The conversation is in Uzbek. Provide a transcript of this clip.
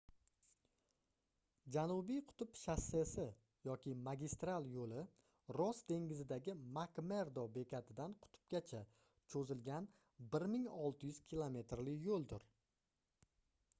janubiy qutb shossesi yoki magistral yo'li ross dengizidagi mak-merdo bekatidan qutbgacha cho'zilgan 1600 kilometrli yo'ldir